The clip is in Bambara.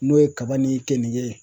N'o ye kaba ni keninge